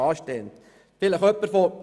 Das BKWG steht an.